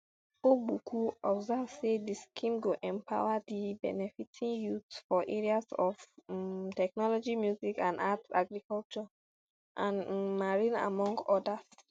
ogbuku observe say di scheme go empower di benefitting youths for areas of um technology music and arts agriculture and um marine among odas